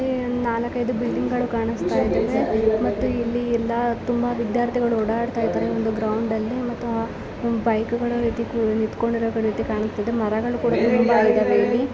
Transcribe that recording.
ಇಲ್ಲಿ ಒಂದು ನಾಲ್ಕೈದು ಬಿಲ್ಡಿಂಗ್ ಕಾಣಿಸುತ್ತಿದ್ದಾವೆ ಮತ್ತು ಇಲ್ಲಿ ಎಲ್ಲ ತುಂಬಾ ವಿದ್ಯಾರ್ಥಿಗಳು ಓಡಾಡ್ತಾ ಇದ್ದಾರೆ ಒಂದು ಗ್ರೌಂಡ್ ಅಲ್ಲಿ ಮತ್ತೆ ಕಾಣಿಸ್ತಾ ಇದೆ. ಬೈಕ್ಗಳು ನಿತ್ಕೊಡಿರೋ ರೀತಿ ಕಾಣತಾ ಇದೆ ಮರಗಳು ಕೂಡ ಇವ್ ಇಲ್ಲಿ --